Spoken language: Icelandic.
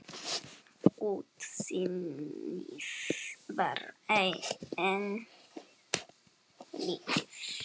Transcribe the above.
Útsýnið var enn lítið.